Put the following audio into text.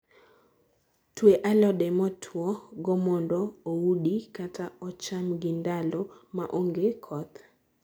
Tue alode motuo go mondo oudi kata ocham gi ndalo maonge koth